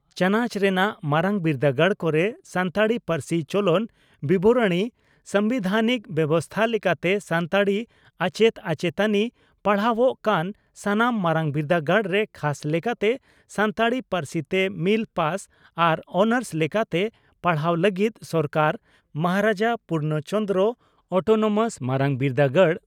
ᱪᱟᱱᱟᱪ ᱨᱮᱱᱟᱜ ᱢᱟᱨᱟᱝ ᱵᱤᱨᱫᱟᱹᱜᱟᱲ ᱠᱚᱨᱮ ᱥᱟᱱᱛᱟᱲᱤ ᱯᱟᱹᱨᱥᱤ ᱪᱚᱞᱚᱱ ᱵᱤᱵᱚᱨᱚᱬᱤ ᱥᱟᱢᱵᱤᱫᱷᱟᱱᱤᱠ ᱵᱮᱵᱚᱥᱛᱟ ᱞᱮᱠᱟᱛᱮ ᱥᱟᱱᱛᱟᱲᱤ ᱟᱪᱮᱛ ᱟᱪᱮᱛᱟᱱᱤ ᱯᱟᱲᱦᱟᱣᱟᱜ ᱠᱟᱱ ᱥᱟᱱᱟᱢ ᱢᱟᱨᱟᱝ ᱵᱤᱨᱰᱟᱹᱜᱟᱲ ᱨᱮ ᱠᱷᱟᱥ ᱞᱮᱠᱟᱴᱮ ᱥᱟᱱᱛᱟᱲᱤ ᱯᱟᱹᱨᱥᱤᱛᱮ ᱢᱤᱞ ᱯᱟᱥ ᱟᱨ ᱳᱱᱟᱨᱥ ᱞᱮᱠᱟᱛᱮ ᱯᱟᱲᱦᱟᱣ ᱞᱟᱹᱜᱤᱰ ᱥᱚᱨᱠᱟᱨ ᱢᱟᱦᱟᱨᱟᱡᱟ ᱯᱩᱨᱵᱱᱚ ᱪᱚᱱᱫᱽᱨᱚ ᱚᱴᱱᱳᱢᱟᱥ ᱢᱟᱨᱟᱝ ᱵᱤᱨᱫᱟᱹᱜᱟᱲ (ᱬᱯᱪ)